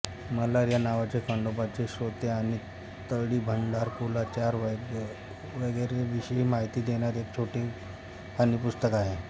मल्हार या नावाचे खंडोबाची स्तोत्रे आणि तळीभंडार कुलाचार वगैरेंविषयी माहिती देणारे एक छोटेखानी पुस्तक आहे